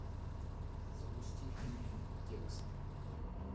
запусти фильм текст